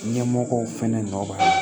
Ɲɛmɔgɔw fɛnɛ nɔ b'a la